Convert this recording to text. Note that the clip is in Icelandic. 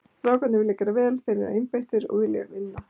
Strákarnir vilja gera vel, þeir eru einbeittir og vilja vinna.